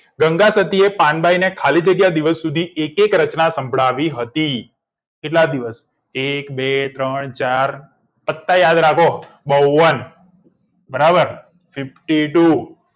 ગંગા સતી એ પાન બ બાઈને ખાલી જગ્યા દિવસ સુધી એક એક રચના સંભળાવી હતી કેટલા દિવસ એક બે ત્રણ ચાર પત્તા યાદ રાખો બાવ બરાબર fifty two